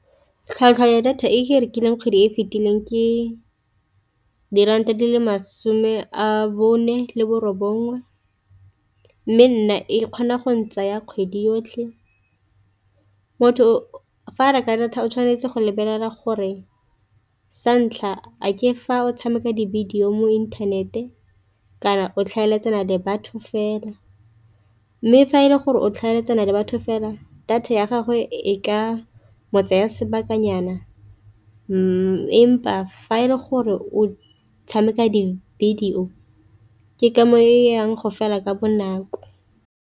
Tlhwatlhwa ya data e ke e rekileng kgwedi e e fetileng ke diranta di le masome a bone le borobongwe, mme nna e kgona go ne tsaya kgwedi yotlhe. Motho fa reka data o tshwanetse go lebelela gore sa ntlha a ke fa o tshameka di-video mo inthanete kana o tlhaeletsana le batho fela, mme fa e le gore o tlhaeletsana le batho fela data ya gagwe e ka kgotsa ya sebakanyana empa fa e le gore o tshameka di-video o ke ka mo e yang go fela ka bonako.